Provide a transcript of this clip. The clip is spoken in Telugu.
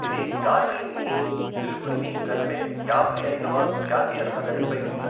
ఇది డార్జిలింగ్ని సిలిగుడిని కలిపే యాభై ఐదవ జాతీయ రహదారిపై ఉంది.